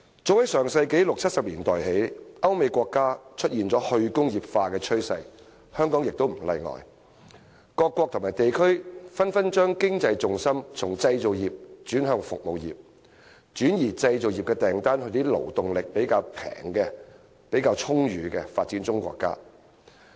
早在上世紀六七十年代，歐美國家出現了"去工業化"趨勢，香港也不例外，各國和地區紛紛把經濟重心從製造業轉向服務業，轉移製造業訂單到一些勞動力較便宜、較足裕的發展中國家。